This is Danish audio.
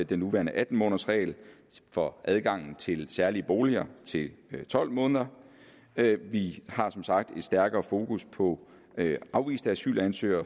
den nuværende atten månedersregel for adgang til særlige boliger til tolv måneder vi har som sagt et stærkere fokus på afviste asylansøgere